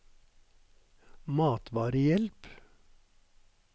matvarehjelp